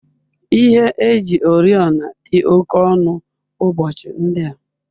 Ihe eji oriọna dị oke ọnụ ụbọchị ndị a.